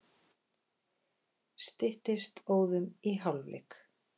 Styttist óðum í hálfleik.